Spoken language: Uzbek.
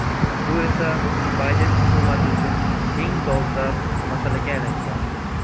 Bu esa Bayden hukumati uchun eng dolzarb masalaga aylangan.